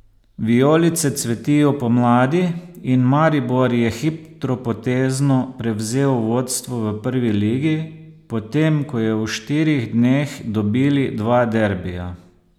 Vijolice cvetijo pomladi in Maribor je hitropotezno prevzel vodstvo v Prvi ligi, potem ko je v štirih dneh dobili dva derbija.